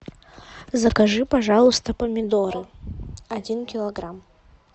закажи пожалуйста помидоры один килограмм